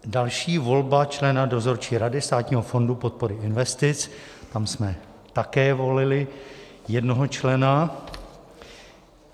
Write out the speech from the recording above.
Další: volba člena Dozorčí rady Státního fondu podpory investic, tam jsme také volili jednoho člena.